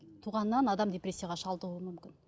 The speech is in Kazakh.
туғаннан адам депрессияға шалдығуы мүмкін